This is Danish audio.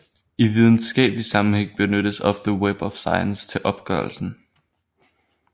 I videnskabelig sammenhæng benyttes ofte Web of Science til opgørelsen